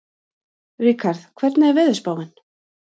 Ríkharð, hvernig er veðurspáin?